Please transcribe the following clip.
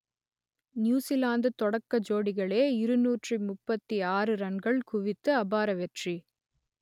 New Zealand தொடக்க ஜோடிகளே இருநூற்றி முப்பத்தி ஆறு ரன்கள் குவித்து அபார வெற்றி